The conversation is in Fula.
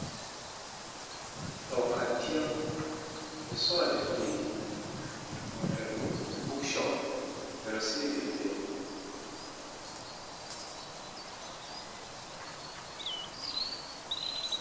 Ɗow canti on ɓe ɗo sora defteji ontnum bookshop ɓe ɗo sili defte.